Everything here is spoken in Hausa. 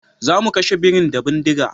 Zamu kashe birin da bindiga